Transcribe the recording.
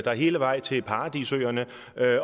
dig hele vejen til paradisøerne